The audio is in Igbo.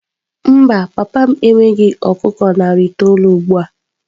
Mba, papa m enweghị ọkụkọ narị itoolu ugbu a.